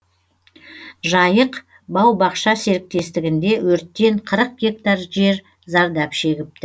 жайық бау бақша серіктестігінде өрттен қырық гектар жер зардап шегіпті